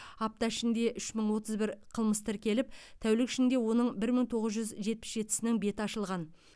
апта ішінде үш мың отыз бір қылмыс тіркеліп тәулік ішінде оның бір мың тоғыз жүз жетпіс жетісінің беті ашылған